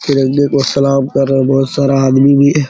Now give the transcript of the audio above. तिरंगे को सलाम कर रहे बहुत सारा आदमी भी हैं ।